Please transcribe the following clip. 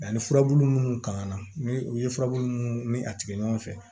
Ani furabulu munnu kan ka na ni u ye furabulu minnu ni a tigɛ ɲɔgɔn fɛ